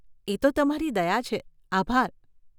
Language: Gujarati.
એ તો તમારી દયા છે, આભાર.